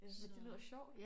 Ja men det lyder sjovt